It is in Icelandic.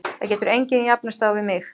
Það getur engin jafnast á við mig.